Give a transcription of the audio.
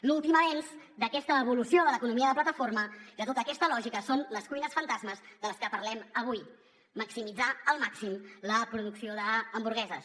l’últim avenç d’aquesta evolució de l’economia de plataforma de tota aquesta lògica són les cuines fantasma de les que parlem avui maximitzar al màxim la producció d’hamburgueses